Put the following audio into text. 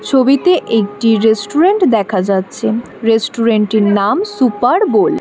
ছবিতে একটি রেস্টুরেন্ট দেখা যাচ্ছে রেস্টুরেন্টের নাম সুপার বোল ।